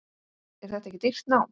Er þetta ekki dýrt nám?